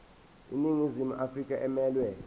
iningizimu afrika emelwe